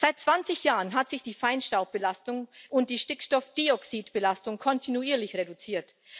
Seit 20 Jahren hat sich die Feinstaubbelastung und die Stickstoffdioxidbelastung kontinuierlich reduziert.